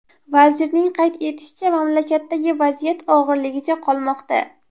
Vazirning qayd etishicha , mamlakatdagi vaziyat og‘irligicha qolmoqda.